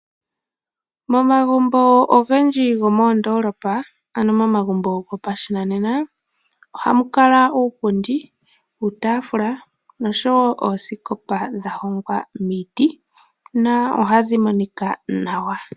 Momagumbo ogendji gomoondolopa ano mo magumbo gopashinanena, ohamu kala uupundi, uutafula nosho wo oosikopa dha hongwa miiti, na ohadhi monika nawa.